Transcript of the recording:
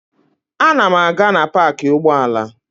Ana m aga na paakị ụgbọala.